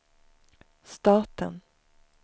staten